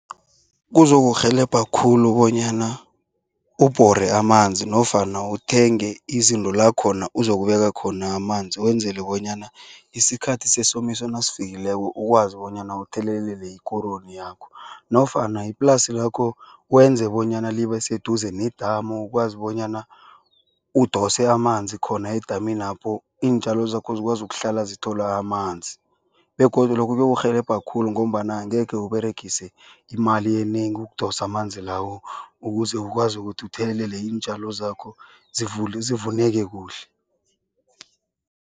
Kuzokurhelebha khulu bonyana ubhore amanzi nofana uthenge izinto la khona kuzokubeka khona amanzi wenzele bonyana isikhathi sesomiso nasifikileko ukwazi bonyana uthelelele ikoroyi yakho. Nofana iplasi lakho wenze bonyana libe seduze nedamu ukwazi bonyana udose amanzi khona edaminapho iintjalo zakho zikwazi ukuhlala zithola amanzi. Begodu lokho kuyorhelebha khulu ngombana angekhe uberegise imali enengi ukudosa amanzi lawo ukuze ukwazi ukuthi uthelelele iintjalo zakho zivuneke kuhle.